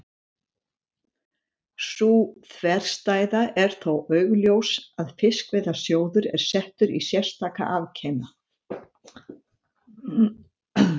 Sú þverstæða er þó augljós að Fiskveiðasjóður er settur í sérstaka afkima.